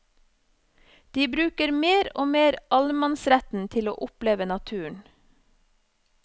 De bruker mer og mer allemannsretten til å oppleve naturen.